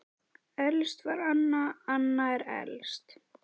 Elst var Anna, Anna er elst, já.